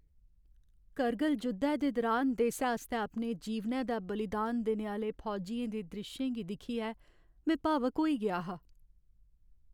कर्गिल जुद्धै दे दुरान देसै आस्तै अपने जीवनै दा बलिदान देने आह्‌ले फौजियें दे द्रिश्शें गी दिक्खियै में भावुक होई गेआ हा।